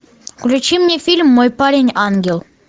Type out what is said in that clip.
включи мне фильм мой парень ангел